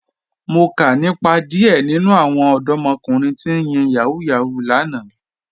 Mo kà nípa díẹ̀ nínu àwọn ọdọ̀mọ̀kùnrin tí ń yin Yahoo Yahoo lánà